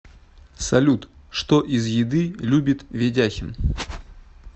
салют что из еды любит ведяхин